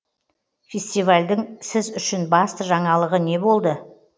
фестивальдің сіз үшін басты жаңалығы не болды